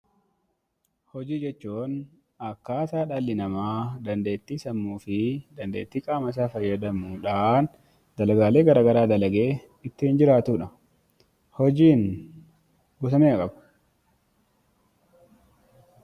Hojii jechuun akkaataa dhalli namaa dandeettii qaama isaa fayyadamuudhaan dalagaa garagaraa dalagee ittiin jiraatudha.